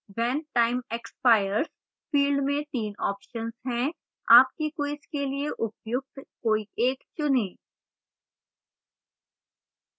when time expires field में 3 options हैं आपकी quiz के लिए उपयुक्त कोई एक चुनें